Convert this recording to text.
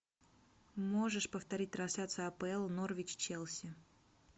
можешь повторить трансляцию апл норвич челси